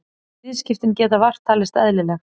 Viðskiptin geta vart talist eðlileg